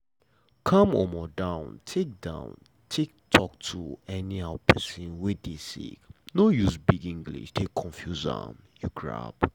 calm um down take down take talk to um pesin wey dey sick no use big english take confuse am. um